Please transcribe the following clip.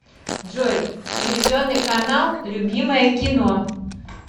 джой телевизионный канал любимое кино